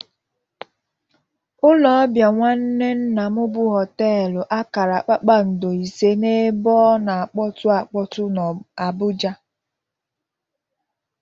Ụlọ ọbịa nwanne nnam bụ hoteelu akara kpakpando ise n'ebe ọ na-akpọtụ akpọtụ n'Abụja.